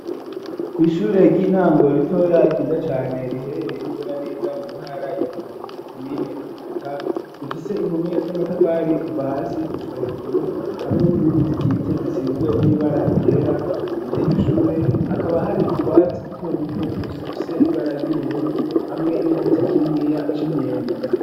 Ku ishure ry'intango ritoya ryiza cane riherereye n'izinaneza mu ntara ya Rumonge komine Muhuta rifise impome z'amatafari kuva hasi gushika hejuru hamwe n'izindi zikitse zisizwe n’ibara ryera imbere yiryo shure hakaba hari utwatsi duto duto dufise ibara ry'ubururu hamwe n'igiti kininiya c'imyembe.